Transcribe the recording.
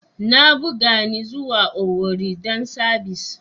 Na buga ni zuwa Owerri dan sabis.